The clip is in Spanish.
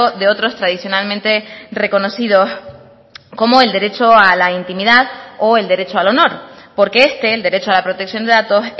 de otros tradicionalmente reconocidos como el derecho a la intimidad o el derecho al honor porque este el derecho a la protección de datos